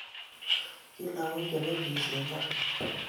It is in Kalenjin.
Ki lagok che mengech en gaa